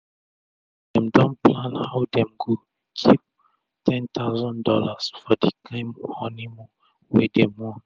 dem don plan how dem go kip $10k for d kain honi moon wey dem want